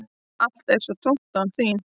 Allt er svo tómt án þín.